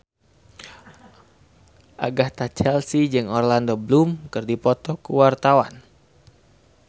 Agatha Chelsea jeung Orlando Bloom keur dipoto ku wartawan